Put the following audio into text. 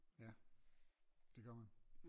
Ja det gør man